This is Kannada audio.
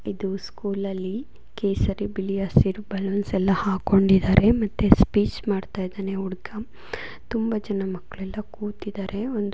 ಇದು ಸ್ಕೂಲಲ್ಲಿ ಕೇಸರಿ ಬಿಳಿ ಹಸಿರು ಬಣ್ಣ ಬಲೂನ್ ಸಲ ಹಾಕೊಂಡಿದ್ದಾರೆ ಮತ್ತೆ ಸ್ಪೀಚ್ ಮಾಡ್ತಾ ಇದ್ದಾನೆ ಒಬ್ಬ ಹುಡುಗ ತುಂಬಾ ಜನ ಮಕ್ಕಳೆಲ್ಲ ಕೂತಿದ್ದಾರೆ ಒಂದು ಬಾವುಟ ಇದೆ ಕೇಸರಿ ಬಿಳಿ ಹಸಿರೆಲೆ ಬಾವುಟ ಇಂಡಿಪೆಂಡೆನ್ಸ್ ಡೇ ಅದರ ಬಗ್ಗೆ ಎಲ್ಲಾ ಮಾತಾಡ್ತಾ ಇದ್ದಾನೆ ಹುಡುಗ.